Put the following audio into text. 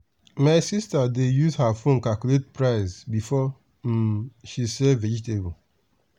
my sister dey use her phone calculate price before um she sell vegetable.